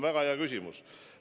Väga hea küsimus!